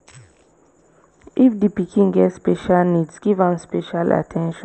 if di pikin get special needs give am special at ten tion